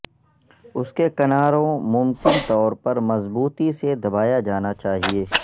اس کے کناروں ممکن طور پر مضبوطی سے دبایا جانا چاہئے